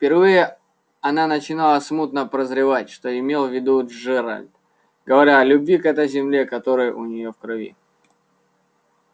впервые она начинала смутно прозревать что имел в виду джералд говоря о любви к этой земле которая у неё в крови